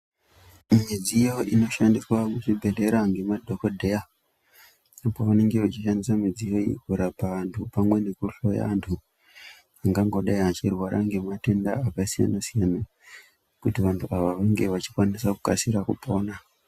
Midziyo inoshandiswa kuchibhedhlera ngemadhogodheya pevanenge vachishandisa midziyo iyi kurapa vantu pamwe nekuhloya vantu vachihloya vangangodai vachirwara ngematenda akasiyana-siyana kuti vantu ava vange vachikasika kupona.